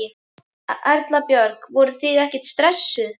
Erla Björg: Voruð þið ekkert stressuð?